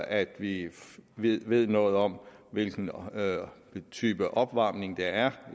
at vi vi ved noget om hvilken type opvarmning der er